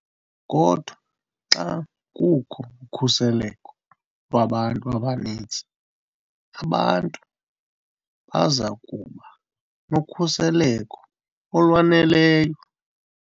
Kodwa, xa kukho ukhuseleko lwabantu abaninzi, abantu baza kuba nokhuseleko olwaneleyo.